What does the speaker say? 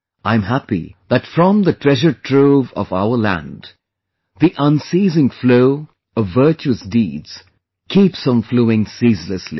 I am happy that from the treasure trove of our land the unceasing flow of virtuous deeds keeps on flowing ceaselessly